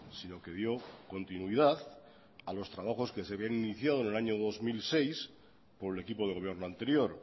sino que dio continuidad a los trabajos que se habían iniciado en el año dos mil seis por el equipo de gobierno anterior